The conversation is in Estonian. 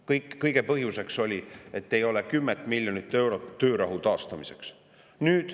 Kõige selle põhjuseks oli, et ei ole 10 miljonit eurot töörahu taastamiseks.